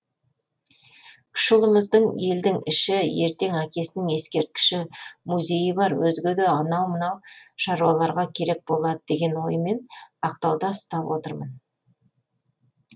кіші ұлымызды елдің іші ертең әкесінің ескерткіші музейі бар өзге де анау мынау шаруаларға керек болады деген оймен ақтауда ұстап отырмын